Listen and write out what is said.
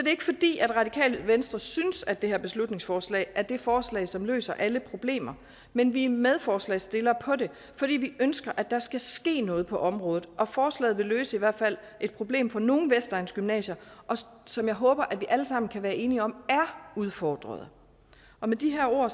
er ikke fordi radikale venstre synes at det her beslutningsforslag er det forslag som løser alle problemer men vi er medforslagsstillere på det fordi vi ønsker at der skal ske noget på området og forslaget vil løse i hvert fald et problem for nogle vestegnsgymnasier som jeg håber at vi alle sammen kan være enige om er udfordrede med de her ord